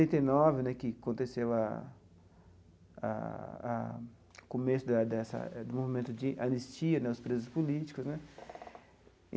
Setenta e nove né, que aconteceu a a o começo da dessa do movimento de anistia, aos presos políticos né.